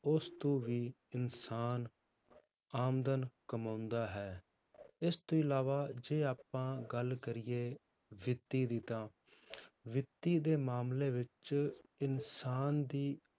ਉਸ ਤੋਂ ਵੀ ਇਨਸਾਨ ਆਮਦਨ ਕਮਾਉਂਦਾ ਹੈ, ਇਸ ਤੋਂ ਇਲਾਵਾ ਜੇ ਆਪਾਂ ਗੱਲ ਕਰੀਏ ਵਿੱਤੀ ਦੀ ਤਾਂ ਵਿੱਤੀ ਦੇ ਮਾਮਲੇ ਵਿੱਚ ਇਨਸਾਨ ਦੀ